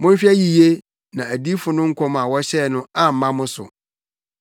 Monhwɛ yiye na adiyifo no nkɔm a wɔhyɛɛ no amma mo so: